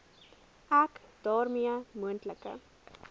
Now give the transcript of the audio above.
ek daarmee moontlike